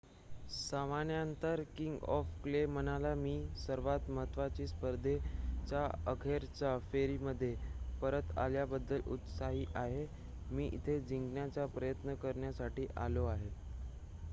"सामन्यानंतर king of clay म्हणाला "मी सर्वांत महत्त्वाच्या स्पर्धेच्या अखेरच्या फेरीमध्ये परत आल्याबद्दल उत्साही आहे. मी इथे जिंकण्याचा प्रयत्न करण्यासाठी आलो आहे.""